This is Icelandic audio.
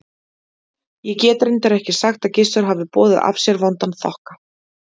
Ég get reyndar ekki sagt að Gissur hafi boðið af sér vondan þokka.